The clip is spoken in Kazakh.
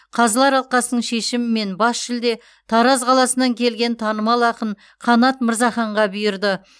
қазылар алқасының шешімімен бас жүлде тараз қаласынан келген танымал ақын қанат мырзаханға бұйырды